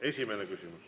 Esimene küsimus.